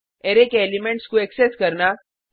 array के elements को access करना